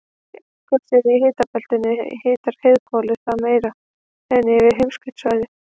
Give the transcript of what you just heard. sé eldgosið í hitabeltinu hitnar heiðhvolfið þar meira en yfir heimskautasvæðunum